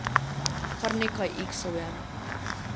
Kar nekaj iksov je.